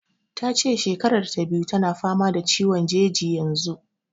Ta ce shekarar ta biyu tana fama da ciwon jeji yanzu.